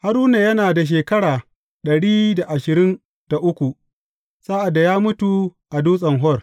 Haruna yana da shekara ɗari da ashirin da uku, sa’ad da ya mutu a Dutsen Hor.